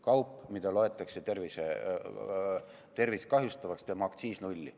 Kaup, mida loetakse tervist kahjustavaks, teeme aktsiis nulli.